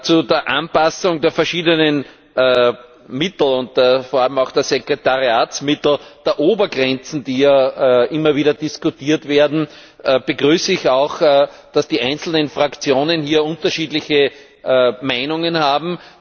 Zu der Anpassung der verschiedenen Mittel, vor allem auch der Sekretariatsmittel der Obergrenzen, die ja immer wieder diskutiert werden begrüße ich auch, dass die einzelnen Fraktionen unterschiedliche Meinungen haben.